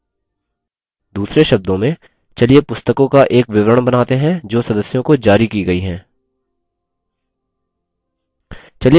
दूसरे शब्दों में चलिए पुस्तकों का एक विवरण बनाते हैं जो सदस्यों को जारी की गयी हैं